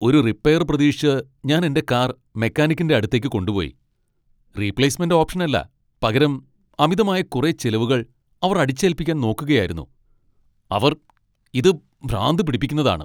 ഒരു റിപ്പെയർ പ്രതീക്ഷിച്ച് ഞാൻ എന്റെ കാർ മെക്കാനിക്കിന്റെ അടുത്തേക്ക് കൊണ്ടുപോയി, റീപ്ളേസ്മെന്റ് ഓപ്ഷനല്ല പകരം അമിതമായ കുറെ ചിലവുകൾ അവർ അടിച്ചേൽപ്പിക്കാൻ നോക്കുകയായിരുന്നു അവർ ! ഇത് ഭ്രാന്ത് പിടിപ്പിക്കുന്നതാണ്.